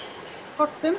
kortum